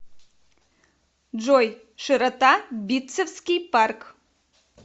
джой широта битцевский парк